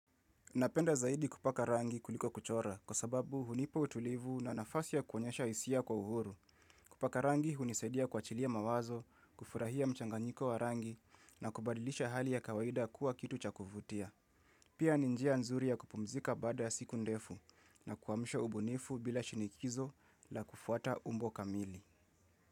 Napenda zaidi kupaka rangi kuliko kuchora. Kwa sababu hunipa utulivu na nafasi ya kuonyesha hisia kwa uhuru. Kupaka rangi unisaidia kwachilia mawazo, kufurahia mchanganyiko wa rangi na kubadilisha hali ya kawaida kuwa kitu cha kuvutia. Pia ni njia nzuri ya kupumzika baada ya siku ndefu na kuamsha ubunifu bila shinikizo la kufuata umbo kamili.